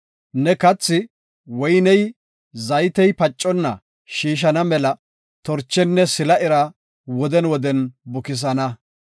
ne kathi, woyney zaytey paconna shiishana mela torchenne sila ira woden woden bukisana.